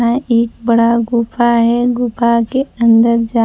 मैं एक बड़ा गुफा है गुफा के अंदर--